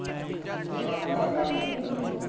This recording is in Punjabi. ਬੜਾ ਸੋਹਣਾ ਲੱਗਾ ਮੈਨੂੰ ਓਦਣ ਯਾਰ